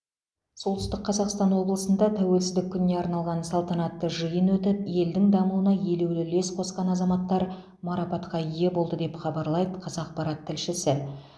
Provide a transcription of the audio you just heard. солтүстік қазақстан облысында тәуелсіздік күніне арналған салтанатты жиын өтіп елдің дамуына елеулі үлес қосқан азаматтар марапатқа ие болды деп хабарлайды қазақпарат тілшісі